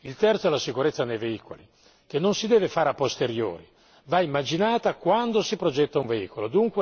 Il terzo è la sicurezza dei veicoli che non si deve fare a posteriori, va immaginata quando si progetta un veicolo.